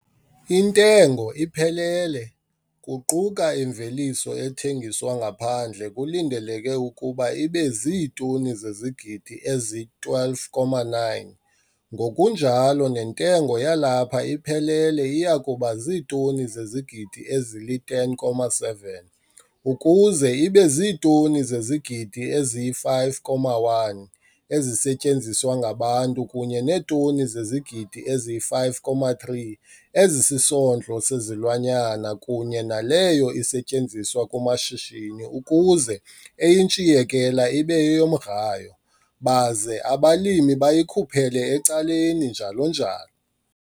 Intengo iphelele, kuquka imveliso ethengiswa ngaphandle kulindeleke ukuba ibe ziitoni zezigidi ezi-12,9, ngokunjalo nentengo yalapha iphelele iya kuba ziitoni zezigidi ezili-10,7, ukuze ibe ziitoni zezigidi ezi-5,1 ezisetyenziswa ngabantu kunye neetoni zezigidi ezi-5,3 ezisisondlo sezilwanyana kunye naleyo isetyenziswa kumashishini ukuze eyintshiyekela ibe yeyomgrayo, baze abalimi bayikhuphele ecaleni njalo njalo.